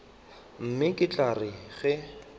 mme e tla re ge